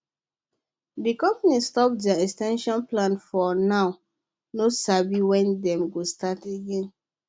the company stop their expansion plans for now no sabi when dem go start again